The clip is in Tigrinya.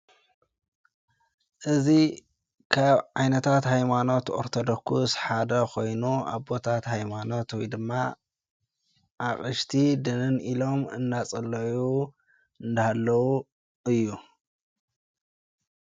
እዙ ኻብ ዓይነታት ኃይማኖት ኦርተዶኩስ ሓደ ኾይኑ ኣቦታት ኃይማኖትዊ ድማ ኣቕሽቲ ድንን ኢሎም እናጸለዩ እንዳሃለዉ እዩ።